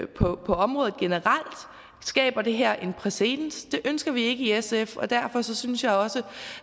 på området generelt skaber det her en præcedens det ønsker vi ikke i sf og derfor synes jeg også